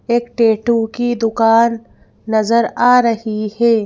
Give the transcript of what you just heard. एक टैटू की दुकान नजर आ रही है।